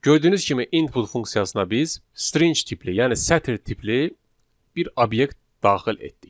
Gördüyünüz kimi input funksiyasına biz string tipli, yəni sətr tipli bir obyekt daxil etdik.